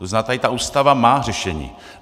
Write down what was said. To znamená, tady ta Ústava má řešení.